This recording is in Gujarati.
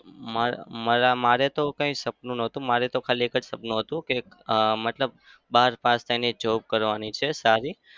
મારે માર~ મારે તો કોઈ સપનું નતું. મારે તો ખાલી એક જ સપનું હતું કે અમ મતલબ બાર પાસ થઇને job કરવાની છે સારી.